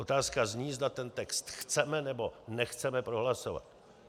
Otázka zní, zda ten text chceme, nebo nechceme prohlasovat.